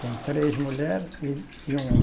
Tem três mulheres e e um homem.